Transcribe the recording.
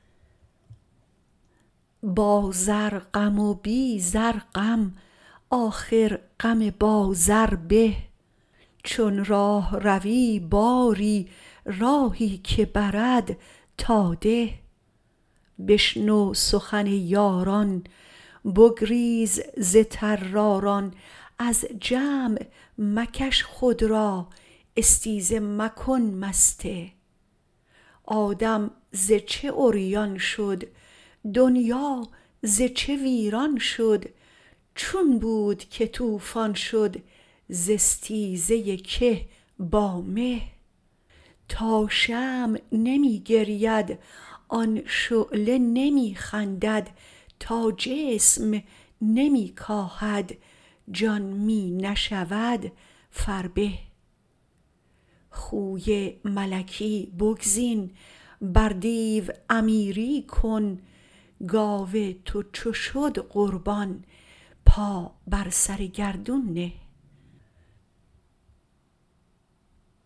با زر غم و بی زر غم آخر غم با زر به چون راهروی باری راهی که برد تا ده بشنو سخن یاران بگریز ز طراران از جمع مکش خود را استیزه مکن مسته آدم ز چه عریان شد دنیا ز چه ویران شد چون بود که طوفان شد ز استیزه که با مه تا شمع نمی گرید آن شعله نمی خندد تا جسم نمی کاهد جان می نشود فربه خوی ملکی بگزین بر دیو امیری کن گاو تو چو شد قربان پا بر سر گردون نه